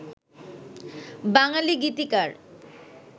বাঙালি গীতিকার